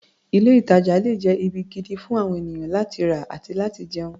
Ilé-ìtàjà le jẹ́ ibi gidi fún àwon ènìyàn láti rà àti láti jẹun.